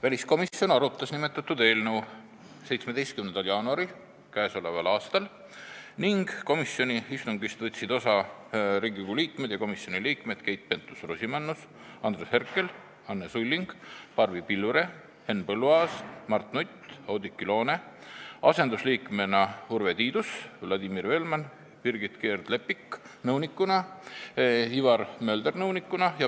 Väliskomisjon arutas nimetatud eelnõu 17. jaanuaril k.a ning komisjoni istungist võtsid osa Riigikogu liikmed ja komisjoni liikmed Keit Pentus-Rosimannus, Andres Herkel, Anne Sulling, Barbi Pilvre, Henn Põlluaas, Mart Nutt, Oudekki Loone, asendusliikmena Urve Tiidus, Vladimir Velman, Birgit Keerd-Leppik nõunikuna ja Ivar Mölder nõunikuna.